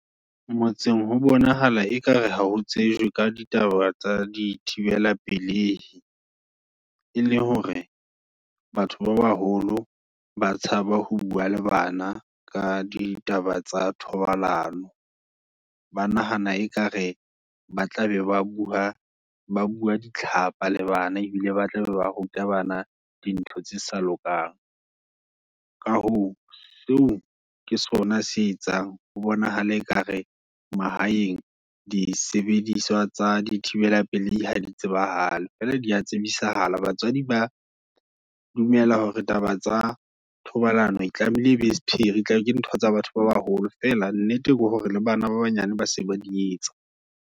Ngotseng ho bonahala ekare ha ho tsejwe. ka ditaba tsa di thibella pelehi, e leng hore batho ba baholo, ba tshaba ho bua le bana, ka ditaba tsa thobalano, Ba nahana ekare, ba tla be ba bua, ba bua ditlhapa le bana, ebile ba tla be ba ruta bana dintho tse sa lokang. Ka hoo, seo ke sona se etsang, ho bonahala ekare, mahayeng, di sebediswa tsa di thibela pelehi, ha di tsebahale, fela dia tsebisahala. Batswadi ba dumela hore, taba tsa thobalano, e tlamehile ebe sepheri, tlabele ntho tsa batho ba baholo. Fela nnete ke hore le bana ba banyane ba se ba di etsa.